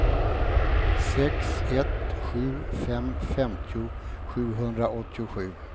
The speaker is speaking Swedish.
sex ett sju fem femtio sjuhundraåttiosju